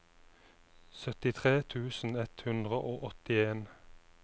syttitre tusen ett hundre og åttien